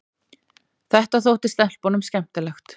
Þetta þótti stelpunum skemmtilegt.